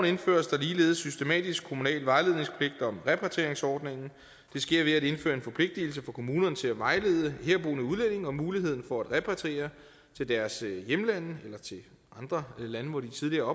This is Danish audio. indføres der ligeledes systematisk kommunal vejledningspligt om repatrieringsordningen det sker ved at indføre en forpligtigelse for kommunerne til at vejlede herboende udlændinge om muligheden for at repatriere til deres hjemlande eller til andre lande hvor de tidligere